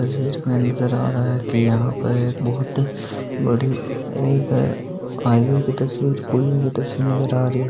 इस तस्वीर में नजर आ रहा है की यहाँ पर एक बहुत बड़ी एक हाईवे तस्वीर नजर आ रही है।